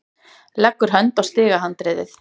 Leggur hönd á stigahandriðið.